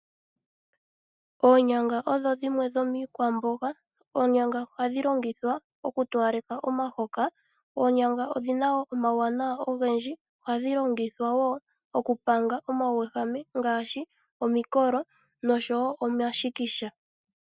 Oonyanga odho dhimwe dhomiikwamboga. Oonyanga ohadhi longithwa okutowaleka omahoka. Oonyanga odhi na wo omawuwanawa ogendji nohadhi longithwa wo okupanga omawuwehame ngaashi omikolo noshowo omashikisha.